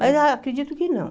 Mas acredito que não.